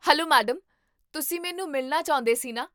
Hello madam, ਤੁਸੀਂ ਮੈਨੂੰ ਮਿਲਣਾ ਚਾਹੁੰਦੇ ਸੀ ਨਾ?